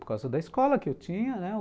Por causa da escola que eu tinha, né?